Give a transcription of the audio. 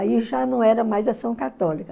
Aí já não era mais Ação Católica.